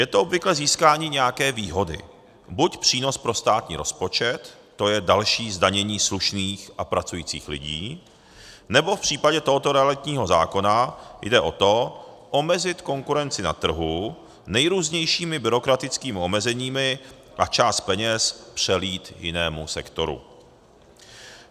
Je to obvykle získání nějaké výhody, buď přínos pro státní rozpočet, to je další zdanění slušných a pracujících lidí, nebo v případě tohoto realitního zákona jde o to omezit konkurenci na trhu nejrůznějšími byrokratickými omezeními a část peněz přelít jinému sektoru.